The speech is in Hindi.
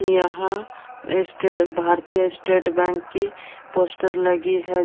यहाँ स्टे भारतीय स्टेट बैंक की पोस्टर लगी है।